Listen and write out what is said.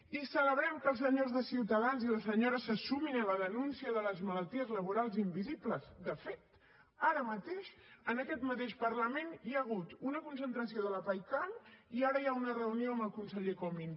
i celebrem que els senyores de ciutadans i les senyores se sumin a la denúncia de les malalties laborals invisibles de fet ara mateix en aquest mateix parlament hi ha hagut una concentració de la paicam i ara hi ha una reunió amb el conseller comín